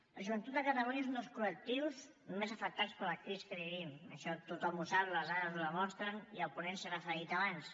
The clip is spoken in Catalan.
la joventut de catalunya és un dels col·lectius més afectats per la crisi que vivim això tothom ho sap les dades ho demostren i el ponent s’hi ha referit abans